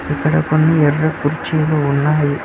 ఇక్కడ కొన్ని ఎర్ర కుర్చీలు ఉన్నాయి.